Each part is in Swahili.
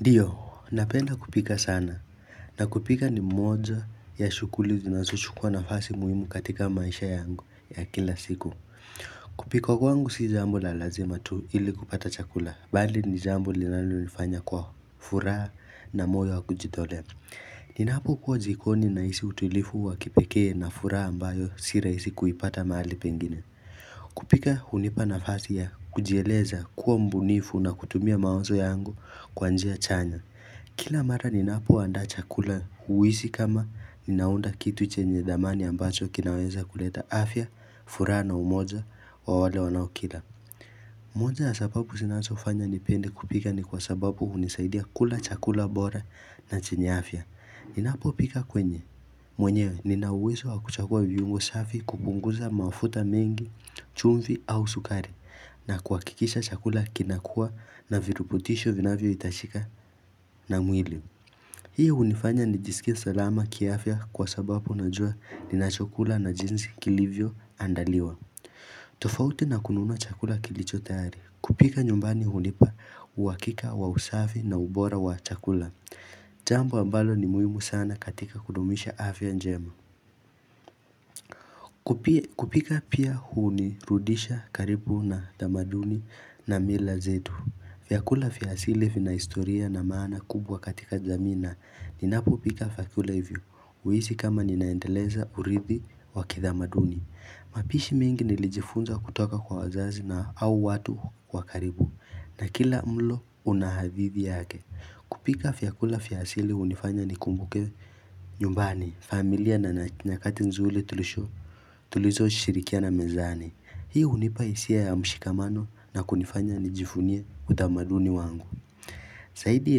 Ndiyo, napenda kupika sana na kupika ni mmoja ya shughuli zinazochukua nafasi muhimu katika maisha yangu ya kila siku. Kupika wangu si jambo la lazima tu ili kupata chakula, bali ni jambo linalonifanya kwa furaha na moyo wa kujitolea. Ninapokuwa jikoni nahisi utulivu wa kipekee na furaha ambayo si rahisi kuipata mahali pengine. Kupika hunipa nafasi ya kujieleza kuwa mbunifu na kutumia mawazo yangu kwa njia chanya Kila mara ninapo andaa chakula huhisi kama ninaunda kitu chenye thamani ambacho kinaweza kuleta afya furaha na umoja wa wale wanaokila moja ya sababu zinazofanya nipende kupika ni kwa sababu hunisaidia kula chakula bora na chenye afya Ninapopika kwenye, mwenyewe nina uwezo wa kuchagua viungo safi kupunguza mafuta mengi, chumvi au sukari na kuhakikisha chakula kinakuwa na virubutisho vinavyohitajika na mwili Hii hunifanya nijisikie salama kiafya kwa sababu najua ninachokula na jinsi kilivyoandaliwa tofauti na kununua chakula kilicho tayari kupika nyumbani hunipa uhakika wa usafi na ubora wa chakula Jambo ambalo ni muhimu sana katika kudumisha afya njema kupika pia hunirudisha karibu na tamaduni na mila zetu vyakula vya asili vina historia na maana kubwa katika jamii na ninapopika vyakula hivyo huhisi kama ninaendeleza urithi wa kitamaduni mapishi mingi nilijifunza kutoka kwa wazazi na au watu wa karibu na kila mlo una hadithi yake kupika vyakula vya asili hunifanya nikumbuke nyumbani, familia, na nyakati nzuri tulizoshirikiana mezani hii hunipa hisia ya mshikamano na kunifanya nijivunie utamaduni wangu zaidi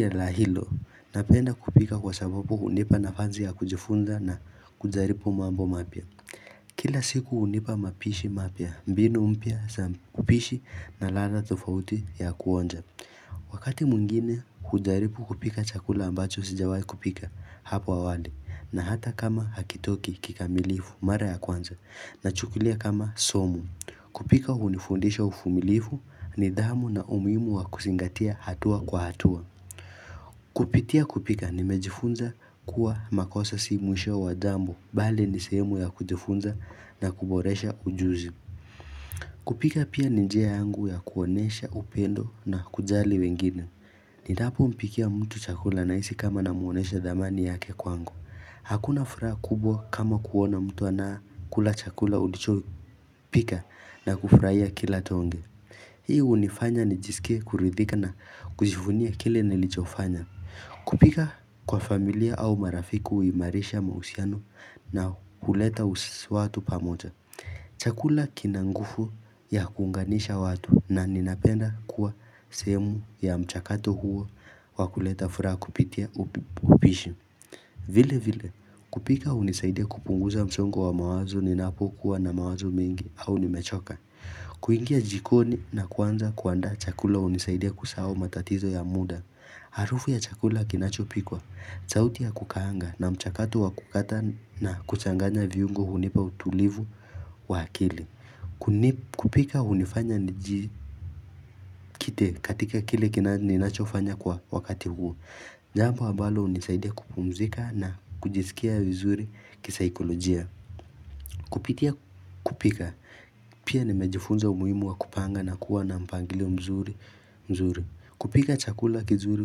la hilo napenda kupika kwa sababu hunipa nafasi ya kujifunza na kujaribu mambo mapya kila siku hunipa mapishi mapya, mbinu mpya za upishi na ladha tofauti ya kuonja wakati mwingine hujaribu kupika chakula ambacho sijawai kupika hapo awali na hata kama hakitoki kikamilifu mara ya kwanza nachukulia kama somo kupika hunifundisha uvumilivu, nidhamu, na umuhimu wa kuzingatia hatua kwa hatua kupitia kupika nimejifunza kuwa makosa si mwisho wa jambo, bali ni sehemu ya kujifunza na kuboresha ujuzi kupika pia ni njia yangu ya kuonyesha upendo na kujali wengine Ninapompikia mtu chakula nahisi kama namwonyesha thamani yake kwangu hakuna furaha kubwa kama kuona mtu anakula chakula ulichopika na kufurahia kila tonge Hii hunifanya nijiskie kuridhika na kujivunia kile nilichofanya kupika kwa familia au marafiki huimarisha mahusiano na kuleta watu pamoja chakula kina nguvu ya kuunganisha watu na ninapenda kuwa sehemu ya mchakato huo wa kuleta furaha kupitia upishi vile vile kupika hunisaidia kupunguza msongo wa mawazo ninapokuwa na mawazo mengi au nimechoka kuingia jikoni na kuanza kuandaa chakula hunisaidia kusahau matatizo ya muda harufu ya chakula kinachopikwa, sauti ya kukaanga na mchakato ya kukata na kuchanganya viungo hunipa utulivu wa akili kupika hunifanya nijikite katika kile ninachofanya kwa wakati huo, jambo ambalo hunisaidia kupumzika na kujisikia vizuri kisaikolojia kupitia kupika pia nimejifunza umuhimu wa kujipanga na kuwa na mpangilio mzuri. Kupika chakula kizuri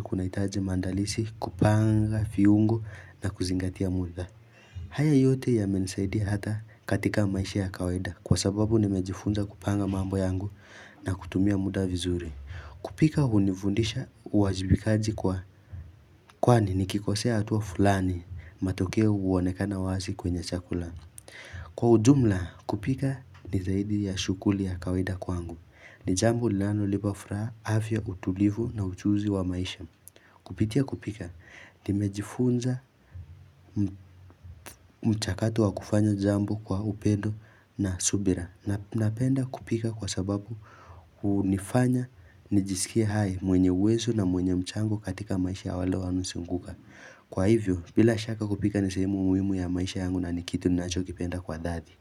kunahitaji maandalizi, kupanga viungo na kuzingatia muda haya yote yamenisaidia hata katika maisha ya kawaida kwa sababu nimejifunza kupanga mambo yangu na kutumia muda vizuri kupika hunifundisha uwajibikaji kwa kwani nikokosea tu fulani, matokeo huonekana wazi kwenye chakula kwa ujumla, kupika ni zaidi ya shughuli ya kawaida kwangu. Ni jambo linalonipa furaha, afya, utulivu, na ujuzi wa maisha. Kupitia kupika, nimejifunza mchakato wa kufanya jambo kwa upendo na subira napenda kupika kwa sababu hunifanya nijiskie hai, mwenye uwezo, na mwenye mchango katika maisha ya wale wanaonizunguka. Kwa hivyo, bila shaka kupika ni sehemu muhimu ya maisha yangu na ni kitu ninachokipenda kwa dhati.